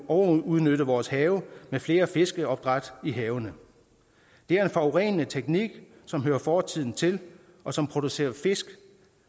overudnytte vores have med flere fiskeopdræt i havene det er en forurenende teknik som hører fortiden til og som producerer fisk